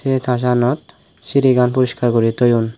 eh churchanot sirigan puriskar guri toyon.